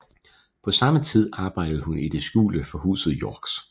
På samme tid arbejdede hun i det skjulte for Huset Yorks